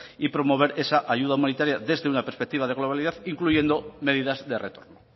y promover esa ayuda humanitaria desde una perspectiva de globalidad incluyendo medidas de retorno